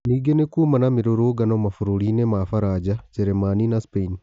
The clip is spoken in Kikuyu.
Ningĩ nĩ kuma na mĩ rũrũngano mabũrũri-inĩ ma Faraja, Jeremani na Spain